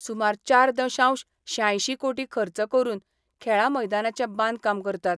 सुमार चार दशांश श्यांयशीं कोटी खर्च करून खेळां मैदानाचे बांदकाम करतात.